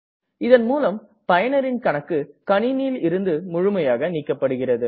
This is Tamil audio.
இதன் மூலம் பயனரின் கணக்கு கணினியில் இருந்து முழுமையாக நீக்கப்படுகிறது